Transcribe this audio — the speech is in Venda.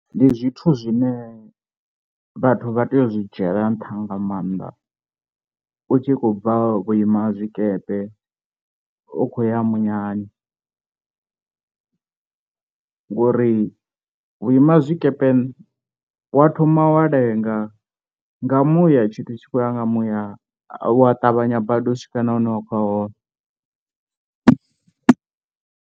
Ndi zwithu zwine vhathu vha tea u zwi dzhiela nṱha nga maanḓa u tshi khou bva vhuimazwikepe u khou ya muyani, ngori vhuimazwikepe wa thoma wa lenga nga muya tshithu tshi khoya nga muya wa ṱavhanya badi u swika na hune wa khou ya hone.